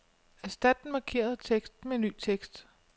Erstat den markerede tekst med ny tekst.